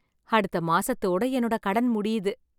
அடுத்த மாசத்தோட என்னோட கடன் முடியுது